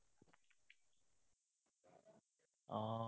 উম